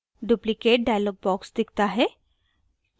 duplicate dialog box दिखता है